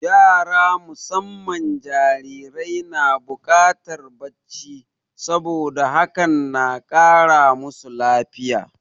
Yara musamman jarirai na buƙatar bacci, saboda hakan na kara masu lafiya.